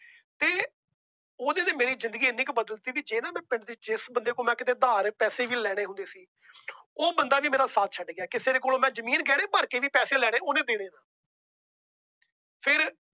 ਉਹਦੇ ਚ ਮੇਰੀ ਜਿੰਦਗੀ ਏਨੀ ਕੁ ਬਦਲ ਤੀ। ਕਿ ਜਿਸ ਬੰਦੇ ਕੋਲੋਂ ਮੈ ਉਧਾਰ ਪੈਸੇ ਵੀ ਲੈਣੇ ਹੁੰਦੇ ਸੀ। ਉਹ ਬੰਦਾ ਵੀ ਮੇਰਾ ਸਾਥ ਛੱਡ ਗਿਆ। ਕਿਸੇ ਦੇ ਕੋਲੋਂ ਮੈ ਜਮੀਨ ਗਹਿਣੇ ਧਰ ਕੇ ਵੀ ਪੈਸੇ ਲੈਣੀ। ਤਾਂ ਓਹਨੇ ਦੇਣੀ ਨਹੀਂ। ਫਿਰ